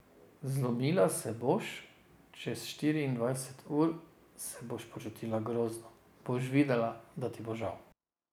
Zlomila se boš, čez štiriindvajset ur se boš počutila grozno, boš videla, da ti bo žal.